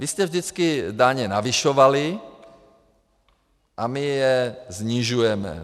Vy jste vždycky daně navyšovali a my je snižujeme.